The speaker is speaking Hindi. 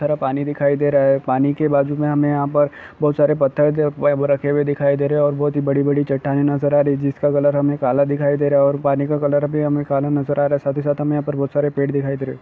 रा पानी दिखाय दे रहा हे पानी के बाजू में हमें यहा पर बहुत सारे पथर ज वाईब रखे हुये दिखाय दे रहे हे ओर बहुत ही बड़ी बड़ी चट्टाने नजर आ रही जिसका कलर हमें काला दिखाई दिखाय दे रहा ओर पानी का कलर भी हमें काला नजर आ रहा हे साथी साथी हमें यहा पे बहुत सारे पेड़ दिखाय दे रहे।